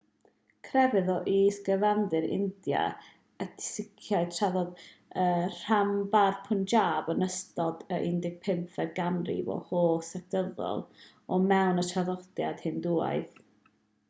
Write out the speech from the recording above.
crefydd o is-gyfandir india ydi siciaeth tarddodd yn rhanbarth punjab yn ystod y 15fed ganrif o hollt sectyddol o fewn y traddodiad hindŵaidd